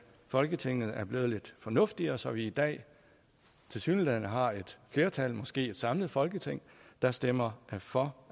folketinget er blevet lidt fornuftigere så vi i dag tilsyneladende har et flertal måske et samlet folketing der stemmer for